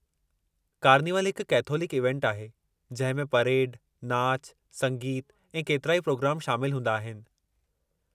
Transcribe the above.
कार्निवलु हिकु कैथोलिक इवेंटु आहे जंहिं में परेड, नाचु, संगीतु ऐं केतिराई पिरोग्राम शामिल हूंदा आहिनि।